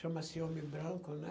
Chama-se homem branco, né?